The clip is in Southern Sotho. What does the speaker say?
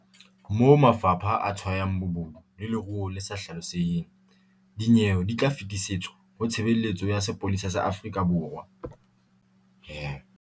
Moo mafapha a tshwayang bobodu le leruo le sa hlaloseheng, dinyewe di tla fetisetswa ho Tshebeletso ya Sepolesa sa Afrika Borwa.